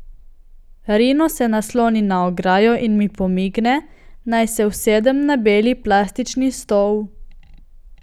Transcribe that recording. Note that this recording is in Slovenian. Rino se nasloni na ograjo in mi pomigne, naj se usedem na beli plastični stol.